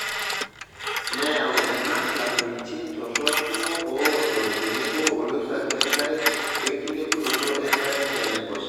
Neyau ena lameitin torok kumok oodo tenebo oliragg lenkare wenkilepunoto enkare tenaiposha.